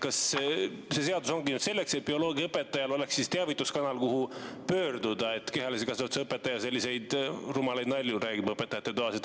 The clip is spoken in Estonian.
Kas see seadus ongi nüüd selleks, et bioloogiaõpetajal oleks teavituskanal, kuhu pöörduda, et kehalise kasvatuse õpetaja selliseid rumalaid nalju räägib õpetajate toas?